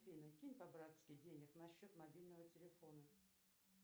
афина кинь по братски денег на счет мобильного телефона